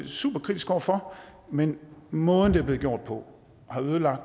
superkritisk over for men måden det er blevet gjort på har ødelagt